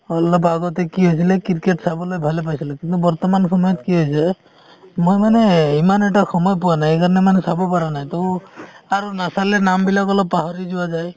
অলপ আগতে কি হৈছিলে ক্ৰিকেট চাবলৈ ভালে পাইছিলো, কিন্তু বৰ্তমান সময়ত কি হৈছে মই মানে ইমান এটা সময় পোৱা নাই সেই কাৰনে মানে চাব পাৰা নাই তো আৰু নাচালে নাম বিলাক অলপ পাহৰি যোৱা যায় ।